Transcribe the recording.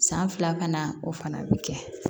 San fila kana o fana bɛ kɛ